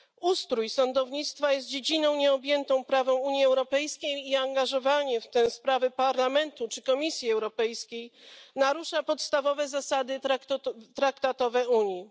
Ustrój sądownictwa jest dziedziną nieobjętą prawem Unii Europejskiej i angażowanie w te sprawy Parlamentu czy Komisji Europejskiej narusza podstawowe zasady traktatowe Unii.